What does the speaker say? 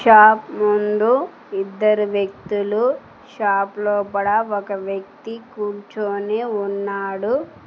Shop ముందు ఇద్దరు వ్యక్తులు షాప్ లోపడ ఒక వ్యక్తి కూర్చొని ఉన్నాడు.